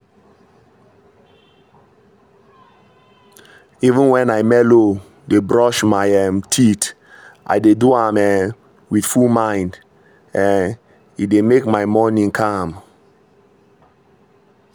even when i melow dey brush my um teeth i dey do am um with full mind um — e dey make my morning calm.